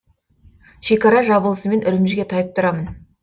шекара жабылысымен үрімжіге тайып тұрамын